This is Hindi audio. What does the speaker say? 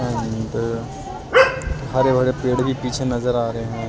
अंदर हरे भरे पेड़ भी पीछे नजर आ रहे हैं।